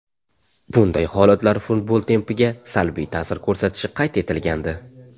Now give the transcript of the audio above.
Bunday holatlar futbol tempiga salbiy ta’sir ko‘rsatishi qayd etilgandi.